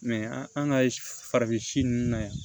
an ka farafin si nunnu na yan